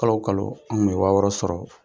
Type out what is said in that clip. Kalo o kalo an kun bɛ wa wƆƆ sɔrɔ